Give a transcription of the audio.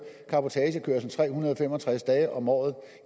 cabotagekørsel tre hundrede og fem og tres dage om året